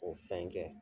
O fɛn kɛ